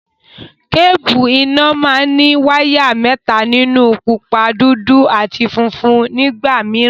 Kébùù iná máa ní wáyà mẹ́ta nínú; pupa, dúdú àti funfun nígbà mìíràn.